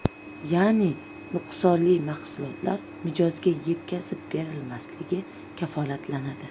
Ya’ni nuqsonli mahsulotlar mijozga yetkazib berilmasligi kafolatlanadi.